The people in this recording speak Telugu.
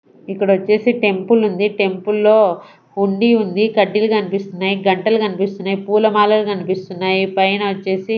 ఇక్కడ వచ్చేసి టెంపుల్ ఉంది టెంపుల్లో హుండీ ఉంది కడ్డీలు కనిపిస్తున్నాయి గంటలు కనిపిస్తున్నాయి పూలమాలలు కనిపిస్తున్నాయి పైన వచ్చేసి.